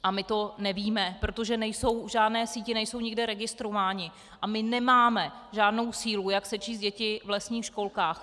A my to nevíme, protože v žádné síti nejsou nikde registrováni a my nemáme žádnou sílu, jak sečíst děti v lesních školkách.